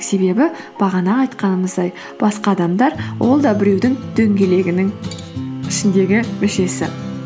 себебі бағана айтқанымыздай басқа адамдар ол да біреудің дөңгелегінің ішіндегі мүшесі